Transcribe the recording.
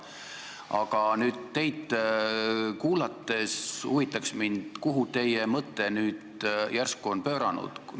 Aga teid kuulates huvitab mind, kuhu teie mõte nüüd järsku on pööranud.